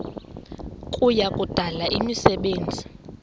kuya kudala imisebenzi